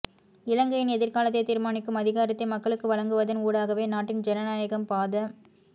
இலங்கையின் எதிர்காலத்தை தீர்மானிக்கும் அதிகாரத்தை மக்களுக்கு வழங்குவதன் ஊடாகவே நாட்டின் ஜனநாயகம் பாத